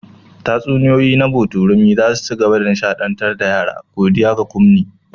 Tatsuniyoyi na botorami za su ci gaba da nishaɗantar da yara, godiya ga Kunmi.